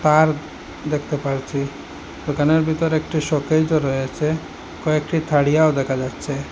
তার দেখতে পাচ্ছি দোকানের ভিতর একটি শোকেসও রয়েছে কয়েকটি থারিয়াও দেখা যাচ্ছে।